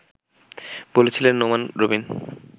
বলছিলেন নোমান রবিন